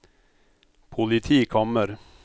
politikammer